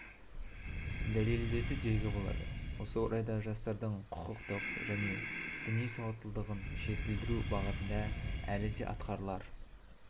дәлелдеді деуге болады осы орайда жастардың құқықтық және діни сауаттылығын жетілдіру бағытында әлі де атқарылар